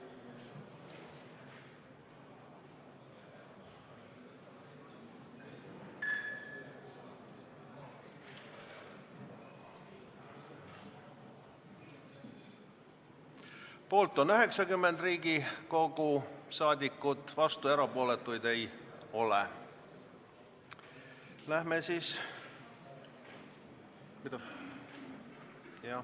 Hääletustulemused Poolt on 90 Riigikogu liiget, vastuolijaid ega erapooletuid ei ole.